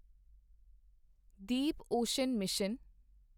Deep ocean mission